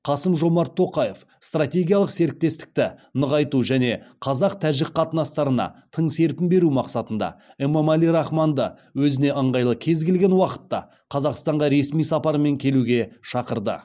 қасым жомарт тоқаев стратегиялық серіктестікті нығайту және қазақ тәжік қатынастарына тың серпін беру мақсатында эмомали рахмонды өзіне ыңғайлы кез келген уақытта қазақстанға ресми сапармен келуге шақырды